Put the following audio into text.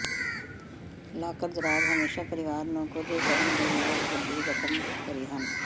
locker ਦਰਾਜ਼ ਹਮੇਸ਼ਾ ਪਰਿਵਾਰ ਨੂੰ ਕੁਝ ਕਰਨ ਦੀ ਲੋੜ ਵੱਡੀ ਰਕਮ ਭਰੀ ਹਨ